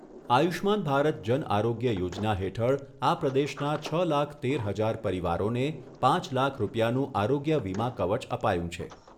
આયુષ્યમાન ભારત જન આરોગ્ય યોજના હેઠળ આ પ્રદેશના છ લાખ તેર હજાર પરિવારોને પાંચ લાખ રૂપિયાનું આરોગ્ય વીમા કવચ અપાયું છે.